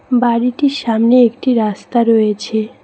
বাড়িটির সামনে একটি রাস্তা রয়েছে।